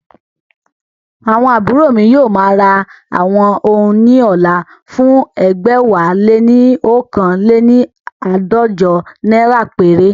Àwọn àbúrò mi yóò ma ra àwọn oun ní ọ̀la fún ẹgbẹ̀wáléní oókan léni àádọ́jọ naira péré